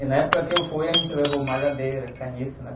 E na época que eu fui, a gente levou malhadeira, caniço, né?